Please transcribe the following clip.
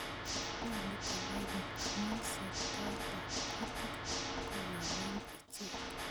Nyolu konai biik amun seertaetab kuutik konameen icheek